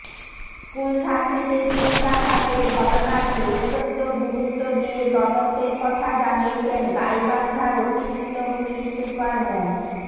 স্কুলছাত্রীকে ছুরিকাঘাতের ঘটনাটি অত্যন্ত গুরুত্ব দিয়ে তদন্তের কথা জানিয়েছেন গাইবান্ধার অতিরিক্ত পুলিশ সুপার মো